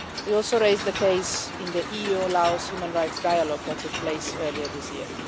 We also raised the case in the EU Laos Human Rights Dialogue that took place earlier this year.